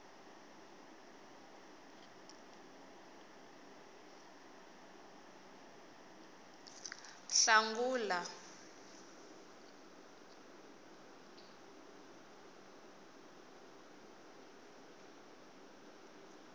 hlangula